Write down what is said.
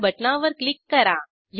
start बटणावर click करा